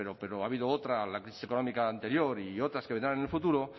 pero ha habido otra la crisis económica anterior y otras que vendrán en el futuro